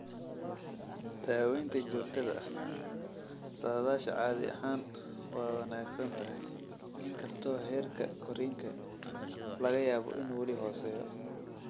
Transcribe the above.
Daaweynta joogtada ah, saadaasha caadi ahaan waa wanaagsan tahay, inkastoo heerka korriinka laga yaabo inuu weli hooseeyo.